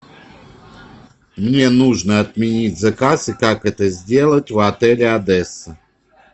мне нужно отменить заказ и как это сделать в отеле одесса